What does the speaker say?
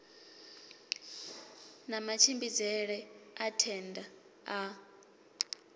na matshimbidzele a thenda a